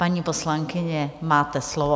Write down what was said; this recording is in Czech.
Paní poslankyně, máte slovo.